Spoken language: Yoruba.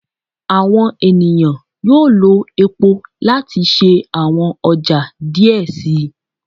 Awọn eniyan yoo lo epo lati ṣe awọn ọja diẹ sii